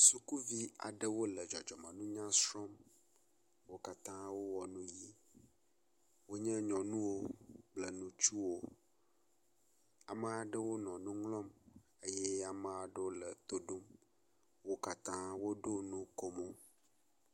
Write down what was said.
Sukuvi aɖewo le dzɔdzɔmenuya srɔm wó katã wó wɔ nu yi wonye nyɔnuwo kple nutsuwo , ameaɖewo nɔ nuŋlɔm eye ameaɖewo le toɖom , wokatã woɖo nukomó